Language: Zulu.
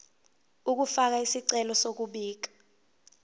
ukufaka isicelo sokubika